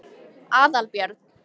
Aðalbjörn